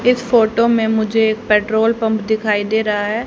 इस फोटो में मुझे एक पेट्रोल पंप दिखाई दे रहा है।